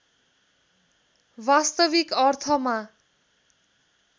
वास्तविक अर्थमा